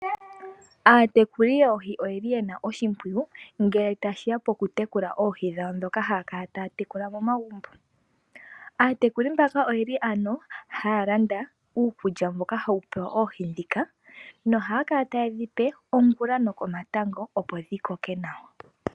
Aatekuli yoohi oyeli yena oshimpwiyu ngele tashiya pokutekula oohi dhawo ndhoka haya kala taya tekula momagumbo. Aatekuli mbaka oyeli ano haya landa uukulya mboka hawu pewa oohi ndhika nohaya kala taye dhi ongula nokomatango, opo dhi koke nawa.